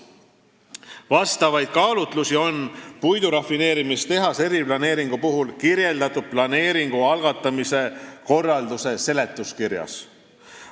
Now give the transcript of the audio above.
Vastavaid kaalutlusi on puidurafineerimistehase eriplaneeringu puhul kirjeldatud planeeringu algatamise korralduse seletuskirjas.